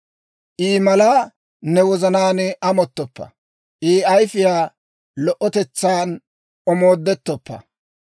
I malaa ne wozanaan amottoppa; I ayfiyaa lo"otetsan omoodettoppa.